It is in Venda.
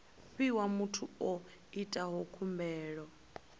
fhiwa muthu o itaho khumbelo